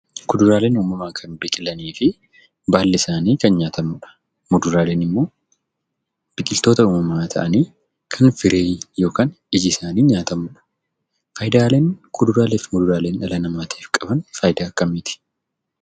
Kuduraaleen uumamaan kan biqilanii fi baalli isaanii kan nyaatamudha. Muduraaleen immoo biqiltoota uumamaa ta'anii kan firii yookan ijisaanii nyaatamudha. Faayidaaleen kuduraaleef muduraaleen dhala namaatiif qaban faayidaa akkamiiti?